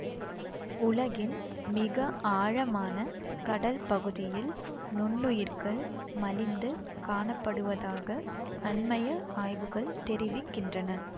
உலகின் மிக ஆழமான கடல் பகுதியில் நுண்ணுயிர்கள் மலிந்து காணப்படுவதாக அண்மைய ஆய்வுகள் தெரிவிக்கின்றன